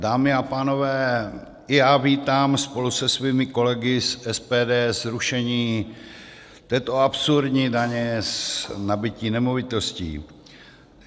Dámy a pánové, i já vítám spolu se svými kolegy z SPD zrušení této absurdní daně z nabytí nemovitostí.